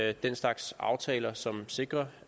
er den slags aftaler som sikrer